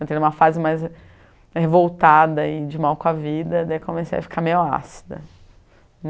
Entrei em uma fase mais revoltada e de mal com a vida, daí comecei a ficar meio ácida.